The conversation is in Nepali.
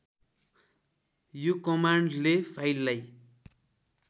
यो कमान्डले फाइललाई